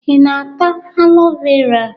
Ị na-ata alo vera?